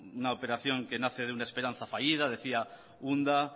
una operación que nace de una esperanza fallida decía unda